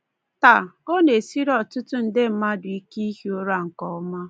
Taa, ọ na-esiri ọtụtụ nde mmadụ ike ihi ụra nke ọma.